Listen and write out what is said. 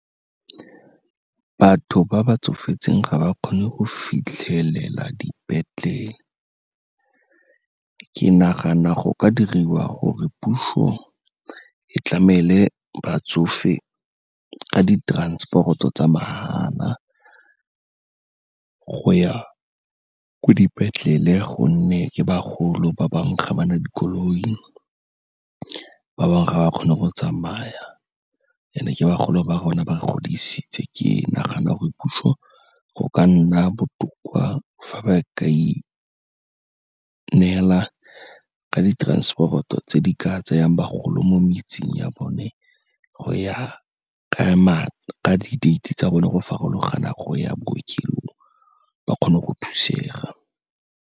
Batho ba ba tsofetseng ga ba kgone go fitlhelela dipetlele, ke nagana go ka diriwa gore puso e tlamele batsofe ka di-transport-o tsa mahala, go ya ko dipetlele gonne ke bagolo ba bangwe ga ba na dikoloi, ba bangwe ga ba kgone go tsamaya and-e ke bagolo ba rona ba re godisitse. Ke nagana gore puso go ka nna botoka fa ba ka ineela ka di-transport-o tse di ka tseyang bagolo mo metseng ya bone, go ya ka di-date-e tsa bone go farologana go ya bookelong, ba kgone go thusega.